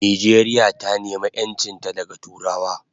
Nijeria ta nema enchinta daga turawa